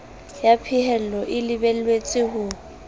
ya phahello e lebelletswe ho